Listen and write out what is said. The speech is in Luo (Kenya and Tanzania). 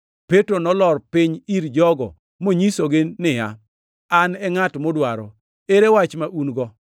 Petro nolor piny ir jogo monyisogi niya, “An e ngʼat mudwaro. Ere wach ma un-go?”